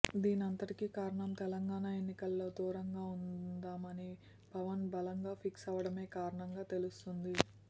దీనంతటికి కారణం తెలంగాణ ఎన్నికల్లో దూరంగా ఉందామని పవన్ బలంగా ఫిక్స్ అవ్వడమే కారణంగా తెలుస్తోంది